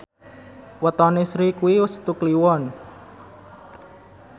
wetone Sri kuwi Setu Kliwon